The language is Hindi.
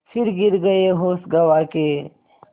फिर गिर गये होश गँवा के